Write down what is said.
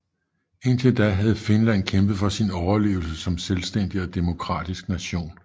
Indtil da havde Finland kæmpet for sin overlevelse som selvstændig og demokratisk nation